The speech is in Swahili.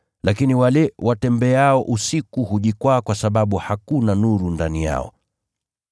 Lakini wale watembeao usiku hujikwaa kwa sababu hakuna nuru ndani yao.”